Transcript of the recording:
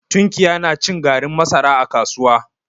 Tunkiya na cin garin masara a kasuwa.